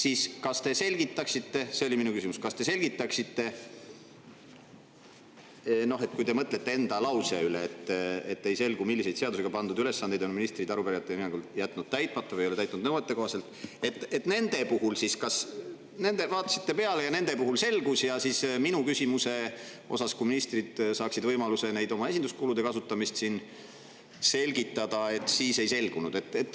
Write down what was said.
Aga kas te selgitaksite, mõeldes enda lausele, et ei selgunud, millised seadusega pandud ülesanded on ministrid arupärijate hinnangul täitmata jätnud või mida nad ei ole täitnud nõuetekohaselt, et kas siis nende puhul oli nii, et vaatasite peale ja see selgus, kuid minu küsimuse puhul, ministrid saanud võimaluse oma esinduskulude kasutamist selgitada, see siis ei selgunud?